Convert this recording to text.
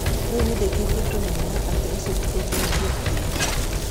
Rĩu nĩ ndĩkĩtie kũmenya atĩ ũcio ti ũndũ ingĩekire".